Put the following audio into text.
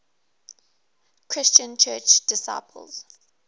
christian church disciples